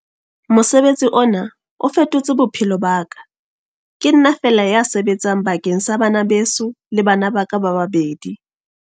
Mosebetsi ona o fetotse bophelo ba ka. Ke nna feela ya sebetsang bakeng sa bana beso le bana ba ka ba babedi.